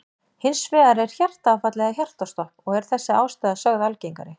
Hins vegar er hjartaáfall eða hjartastopp og er þessi ástæða sögð algengari.